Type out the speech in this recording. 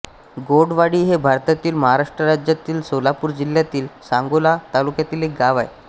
गौडवाडी हे भारतातील महाराष्ट्र राज्यातील सोलापूर जिल्ह्यातील सांगोला तालुक्यातील एक गाव आहे